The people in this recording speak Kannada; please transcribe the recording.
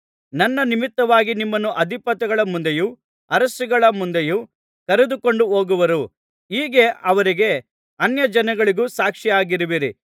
ನನ್ನ ನಿಮಿತ್ತವಾಗಿ ನಿಮ್ಮನ್ನು ಅಧಿಪತಿಗಳ ಮುಂದೆಯೂ ಅರಸುಗಳ ಮುಂದೆಯೂ ಕರೆದುಕೊಂಡು ಹೋಗುವರು ಹೀಗೆ ಅವರಿಗೂ ಅನ್ಯಜನಗಳಿಗೂ ಸಾಕ್ಷಿಯಾಗುವಿರಿ